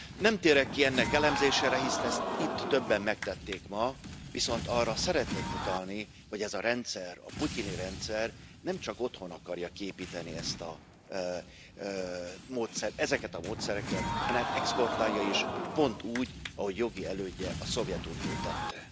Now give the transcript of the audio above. Nem térek ki ennek elemzésére, hisz ezt itt többen megtették ma, viszont arra szeretnék utalni, hogy ez a rendszer, a putyini rendszer nemcsak otthon akarja kiépíteni ezt a módszert, ezeket a módszereket, hanem exportálja is, pont úgy, ahogy jogi elődje, a Szovjetunió tette.